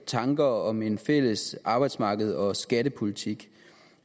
tankerne om en fælles arbejdsmarkeds og skattepolitik